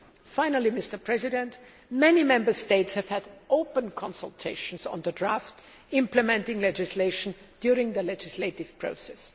Finally, many Member States have had open consultation on the draft implementing legislation during the legislative process.